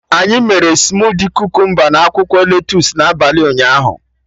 Anyị mere smudi Kukumba na akwụkwọ lettusu n'abalị ụnyaahụ